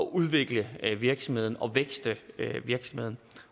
udvikle virksomheden og vækste virksomheden